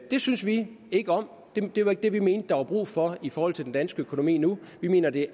det synes vi ikke om det var ikke det vi mente der var brug for i forhold til den danske økonomi nu vi mener det